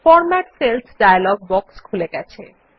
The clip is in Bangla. ফরম্যাট সেলস ডায়ালগ বক্স খুলে গেছে